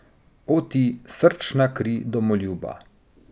O, ti, srčna kri domoljuba!